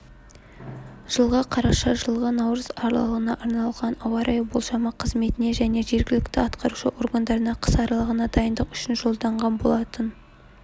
жылғы қараша жылғы наурыз аралығына арналған ауа-райы болжамы қызметіне және жергілікті атқарушы органдарына қыс аралығына дайындық үшін жолданған болатын